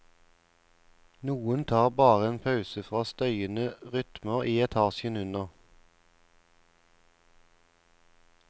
Noen tar bare en pause fra støyende rytmer i etasjen under.